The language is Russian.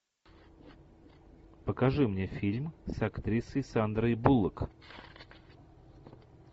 покажи мне фильм с актрисой сандрой буллок